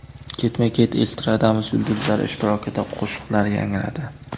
Ketma-ket estradamiz yulduzlari ishtirokida qo‘shiqlar yangradi.